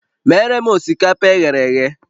Meere m osikapa e ghere eghe!